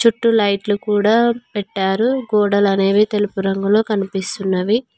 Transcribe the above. అటు లైట్లు కూడా పెట్టారు గోడలు అనేవి తెలుపు రంగులో కనిపిస్తున్నవి.